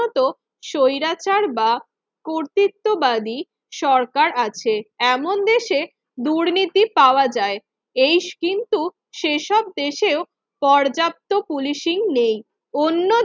মতো স্বৈরাচার বা কর্তৃত্ববাদী সরকার আছে এমন দেশে দুর্নীতি পাওয়া যায় এই কিন্তু সেসব দেশেও পর্যাপ্ত পুলিশিং নেই অন্য দেশে